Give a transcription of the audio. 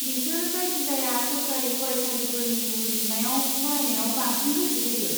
बिसोर जायखिजाया सोरखारि फरायसालिफोरनि रुजुनायाव फरायनायाव बांसिन गोसो होयो।